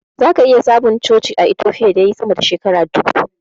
Zaka iya samun coci a Itofiya da yayi sama da shekara dubu.